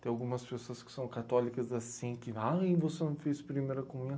Tem algumas pessoas que são católicas assim, que, ai, você não fez primeira comunhão.